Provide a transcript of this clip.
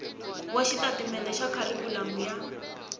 wa xitatimende xa kharikhulamu ya